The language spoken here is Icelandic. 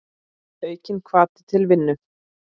Aukinn hvati til vinnu.